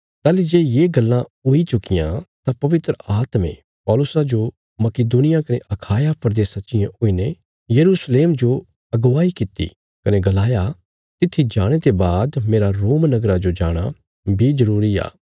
ताहली जे ये गल्लां हुई चुक्कियां तां पवित्र आत्मे पौलुसा जो मकिदुनिया कने अखाया प्रदेशा चियें हुईने यरूशलेम जो अगवाई कित्ती कने गलाया तित्थी जाणे ते बाद मेरा रोम नगरा जो जाणा बी जरूरी आ